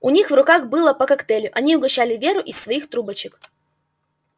у них в руках было по коктейлю они угощали веру из своих трубочек